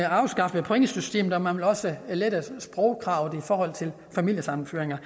afskaffede pointsystemet og man ville også lette sprogkravet i forhold til familiesammenføringer